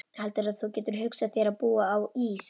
Heldurðu að þú getir hugsað þér að búa á Ís